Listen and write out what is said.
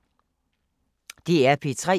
DR P3